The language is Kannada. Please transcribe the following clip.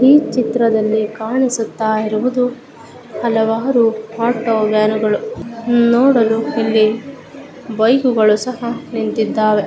ಈ ಚಿತ್ರದಲ್ಲಿ ಕಾಣಿಸುತ್ತ ಇರುವುದು ಹಲವಾರು ಆಟೋ ವ್ಯಾನುಗಳು ನೋಡಲು ಇಲ್ಲಿ ಬೈಕುಗಳು ಸಹ ನಿಂತಿದ್ದಾವೆ.